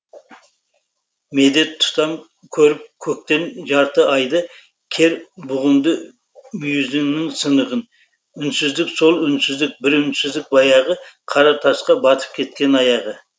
медет тұтам көріп көктен жарты айды кер бұғымның мұйізінің сынығын үнсіздік сол үнсіздік бір үнсіздік баяғы қара тасқа батып кеткен аяғы